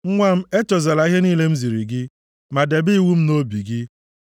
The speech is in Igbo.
Nwa m echezọla ihe niile m ziri gị. Ma debe iwu m nʼobi gị.